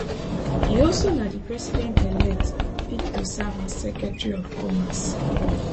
e also na di presidentelect pick to serve as secretary of commerce